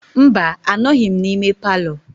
Mba, anọghịm na ime palọ.